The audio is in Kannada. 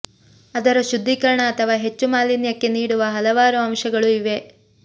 ಅದರ ಶುದ್ಧೀಕರಣ ಅಥವಾ ಹೆಚ್ಚು ಮಾಲಿನ್ಯಕ್ಕೆ ನೀಡುವ ಹಲವಾರು ಅಂಶಗಳು ಇವೆ